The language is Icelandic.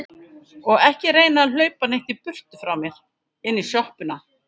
Og ekki reyna að hlaupa neitt í burtu frá mér. inn í sjoppuna!